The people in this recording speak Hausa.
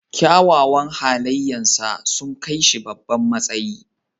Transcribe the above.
Kyawawan halayensa sun kai shi babban matsayi.